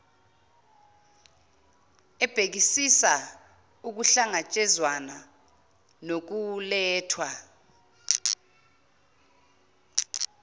ebhekisisa ukuhlangatshezwana nokulethwa